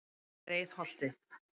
Breiðholti